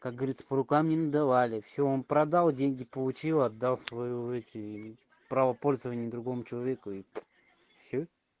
как говорится по рукам не надавали всё он продал деньги получил отдал своё эти право пользование другому человеку и всё